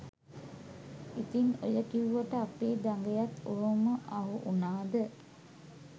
ඉතින් ඔය කිව්වට අපේ දඟයත් ඔහොම අහු උනාද